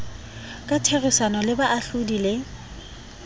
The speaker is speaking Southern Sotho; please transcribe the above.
ka therisano le baahlodi le